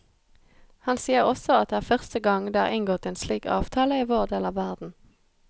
Han sier også at det er første gang det er inngått en slik avtale i vår del av verden.